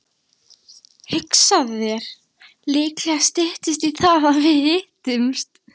Hugsaðu þér, líklega styttist í að við hittumst.